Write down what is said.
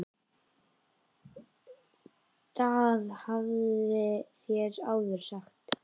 GVENDUR: Það hafið þér áður sagt.